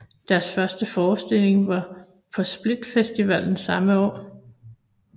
Deres første forestilling var på Split Festival samme år